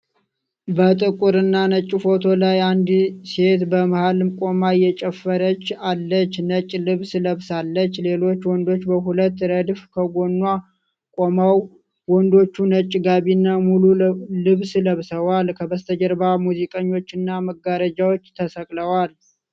በጥቁር እና ነጭ ፎቶ ላይ፣ አንድ ሴት በመሀል ቆማ እየጨፈረች አለች። ነጭ ልብስ ለብሳለች፣ ሌሎች ወንዶች በሁለት ረድፍ ከጎኗ ቆመዋል። ወንዶቹ ነጭ ጋቢና ሙሉ ልብስ ለብሰዋል፤ ከበስተጀርባ ሙዚቀኞችና መጋረጃዎች ተሰቅለዋል።